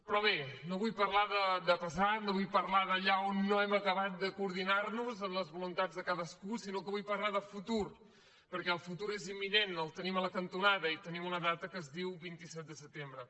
però bé no vull parlar de passat no vull parlar d’allà on no hem acabat de coordinar nos en les voluntats de cadascú sinó que vull parlar de futur perquè el futur és imminent el tenim a la cantonada i tenim una data que es diu vint set de setembre